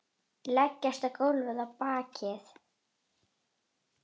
Leggst á gólfið á bakið.